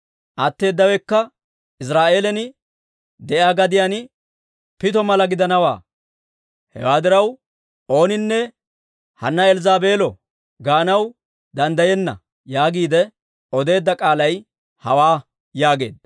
Atteedawekka Iziraa'eelan de'iyaa gadiyaan pitto mala gidanawaa. Hewaa diraw ooninne, «Hanna Elzzaabeelo» gaanaw danddayenna› yaagiide odeedda k'aalay hawaa» yaageedda.